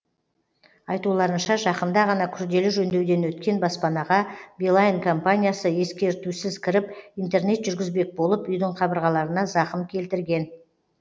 айтуларынша жақында ғана күрделі жөндеуден өткен баспанаға билайн компаниясы ескертусіз кіріп интернет жүргізбек болып үйдің қабырғаларына зақым келтірген